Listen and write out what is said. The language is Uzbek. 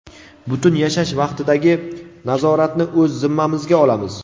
butun yashash vaqtidagi nazoratni o‘z zimmamizga olamiz.